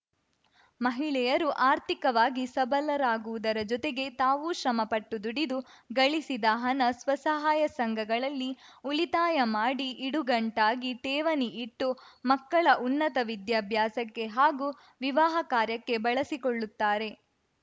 ಮಹಿಳೆಯರು ಆರ್ಥಿಕವಾಗಿ ಸಬಲರಾಗುವುದರ ಜೊತೆಗೆ ತಾವು ಶ್ರಮಪಟ್ಟು ದುಡಿದು ಗಳಿಸಿದ ಹಣ ಸ್ವಸಹಾಯ ಸಂಘಗಳಲ್ಲಿ ಉಳಿತಾಯ ಮಾಡಿ ಇಡುಗಂಟಾಗಿ ಠೇವಣಿ ಇಟ್ಟು ಮಕ್ಕಳ ಉನ್ನತ ವಿದ್ಯಾಭ್ಯಾಸಕ್ಕೆ ಹಾಗೂ ವಿವಾಹ ಕಾರ್ಯಕ್ಕೆ ಬಳಸಿಕೊಳ್ಳುತ್ತಾರೆ